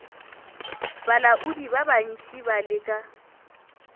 balaodi ba bantši ba leka